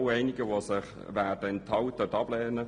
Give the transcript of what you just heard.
Einige werden sich enthalten oder ablehnen.